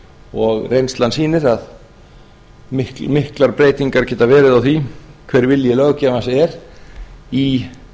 og reynslan sýnir að miklar breytingar geta verið á því hver vilji löggjafans er í